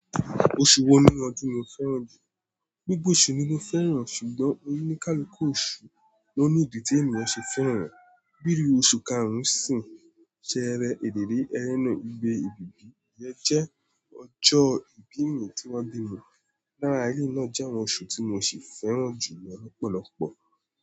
Oṣù wo nínú ọdún ni o fẹ́ràn jù? Gbogbo oṣù ni mo fẹ́ràn ṣùgbọ́n onikaluku òṣù ló ní ìdí tí ènìyàn ṣe fẹ́ràn e, bíi oṣù karùn-ún-sín, ṣẹẹrẹ, èlèlé, ẹrèná, igbe, ibìbí, iyẹ jẹ́ ọjọ́ ìbí mi tí wọ́n bími. Lára eleyìí náà jẹ́ àwọn oṣù tí mo ṣe fẹ́ràn jù lọ lọ̀pọ̀lọ̀pọ̀.